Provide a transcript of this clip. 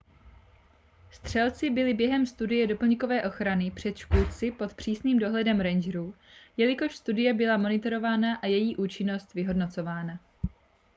střelci byli během studie doplňkové ochrany před škůdci pod přísným dohledem rangerů jelikož studie byla monitorována a její účinnost vyhodnocována